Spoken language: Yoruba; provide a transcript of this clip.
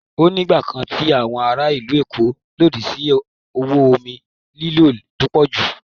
Ó ní ìgbà kan tí àwọn ará ìlú Èkó lòdì sí owó omi ìlò tó pọ̀ jù.